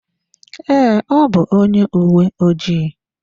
Ee, ọ bụ onye uwe ojii.